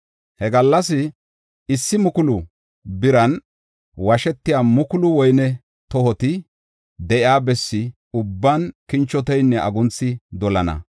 He gallas issi mukulu biran washetiya mukulu woyne tohoti de7iya bessa ubban kinchoteynne agunthi dolana.